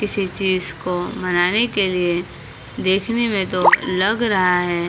किसी चीज को मनाने के लिए देखने में तो लग रहा है।